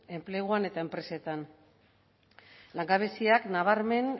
enpleguan eta enpresetan langabeziak nabarmen